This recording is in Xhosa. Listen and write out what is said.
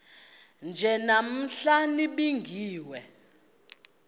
nje namhla nibingiwe